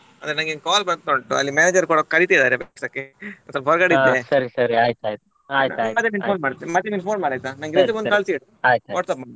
ಅದೇ ನಂಗೆ call ಬರ್ತಾಉಂಟು ಅಲ್ಲಿ manager ಕೂಡ ಕರೀತಿದ್ದಾರೆ ಕೆಲ್ಸಕ್ಕೆ ಸ್ವಲ್ಪ ಹೊರಗಡೆ ಇದ್ದೆ ಮತ್ತೇ ನಂಗೆ phone ಮಾಡಯ್ತಾ ನಂಗೆ resume ಒಂದು ಕಳ್ಸಿಡು WhatsApp ಮಾಡು .